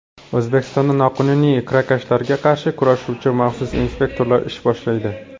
O‘zbekistonda noqonuniy kirakashlarga qarshi kurashuvchi maxsus inspektorlar ish boshlaydi.